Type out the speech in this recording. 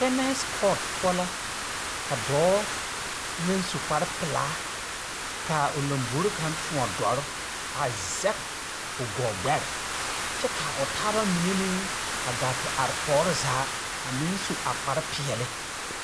Tɛnɛsekɔɔt poɔ la ka dɔɔ, naŋ su kparepelaa kaa lambori kaŋ tõɔ dɔre, a zɛge, o gɔɔ gbɛre kyɛ kaa o taaba mine meŋ a gaa te are tɔɔre zaa, a meŋ su a kparepeɛle.